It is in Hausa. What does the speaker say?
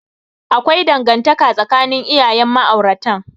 Akwai dangantaka tsakanin iyayen ma'auratan.